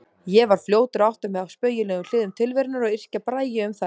Ég var fljótur að átta mig á spaugilegum hliðum tilverunnar og yrkja bragi um þær.